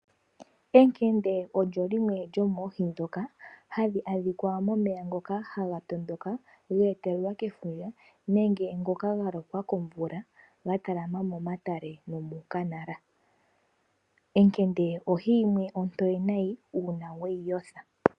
Ekende lyo limwe lyomoohi ndhoka hadhi adhika momeya ngoka haga tondoka ge etelelwa kefundja nenge ngoka ga lokwa komvula ga talama momatale nomuukanala. Ekende ohi yimwe ontoye nayi uuna we yi yotha.